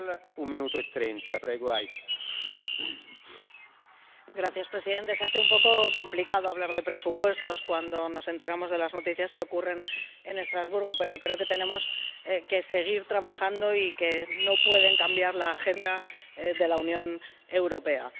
Señor presidente, se hace un poco complicado hablar de presupuestos cuando nos enteramos de las noticias que ocurren en Estrasburgo, pero creo que tenemos que seguir trabajando y que no pueden cambiar la agenda de la Unión Europea.